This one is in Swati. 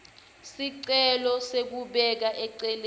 sicelo sekubeka eceleni